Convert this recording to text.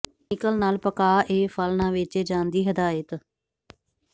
chemical ਨਾਲ ਪਕਾ ਏ ਫਲ ਨਾ ਵੇਚੇ ਜਾਣ ਦੀ ਹਦਾਇਤ